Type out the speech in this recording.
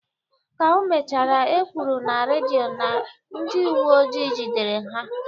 Ka o mechara, ekwuru na redio na ndị uweojii jidere ha.